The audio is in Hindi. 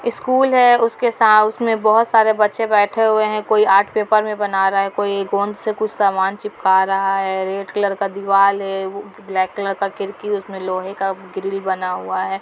स्कूल है उसमे बहुत सारे बच्चे बैठे हुए है कोई आर्ट पेपर से बना रहा है कोई गोंद से कुछ सामान चिपका रहा है रेड कलर का दीवाल है ब्लैक कलर का खिड़की है उसमे लोहे का ग्रील बना हुआ हैं।